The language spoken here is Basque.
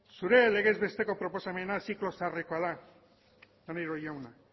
zure legez besteko proposamena ziklo zaharrekoa da maneiro jauna